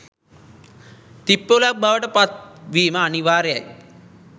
තිප්පොළක් බවට පත් වීම අනිවාර්යයි.